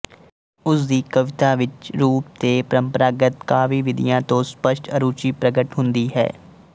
ਉਸ ਦੀ ਕਵਿਤਾ ਵਿੱਚ ਰੂਪ ਤੇ ਪਰੰਪਰਾਗਤ ਕਾਵਿਵਿਧੀਆ ਤੋਂ ਸੱਪਸ਼ਟ ਅਰੁਚੀ ਪ੍ਰਗਟ ਹੁੰਦੀ ਹੈ